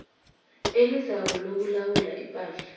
elizako lokulawula ipahla